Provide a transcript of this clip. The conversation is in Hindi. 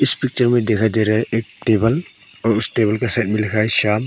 इस पिक्चर में दिखाई दे रहा है एक टेबल और उस टेबल के साइड में लिखा है श्याम ।